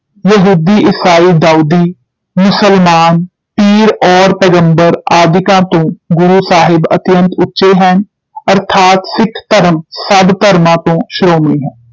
ਯਹੂਦੀ, ਈਸਾਈ, ਦਾਊਦੀ, ਮੁਸਲਮਾਨ, ਪੀਰ ਔਰ ਪੈਗੰਬਰ ਆਦਿਕਾਂ ਤੋਂ ਗੁਰੂ ਸਾਹਿਬ ਅਤਿਅੰਤ ਉਚੇ ਹਨ, ਅਰਥਾਤ ਸਿਖ ਧਰਮ ਸਭ ਧਰਮਾਂ ਤੋਂ ਸ਼੍ਰੋਮਣੀ ਹੈ।